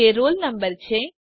જે roll number છે